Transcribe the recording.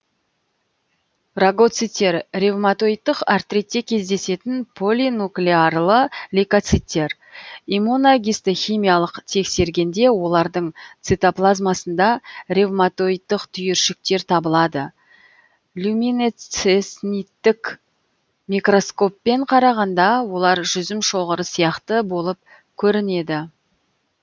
рагоциттер ревматоидтық артритте кездесетін полинуклеарлы лейкоциттер иммуногистохимиялық тексергенде олардың цитоплазмасында ревматоидтық түйіршіктер табылады люминецесниттік микроскоппен қарағанда олар жүзім шоғыры сияқты болып көрінеді